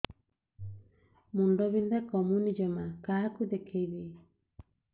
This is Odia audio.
ମୁଣ୍ଡ ବିନ୍ଧା କମୁନି ଜମା କାହାକୁ ଦେଖେଇବି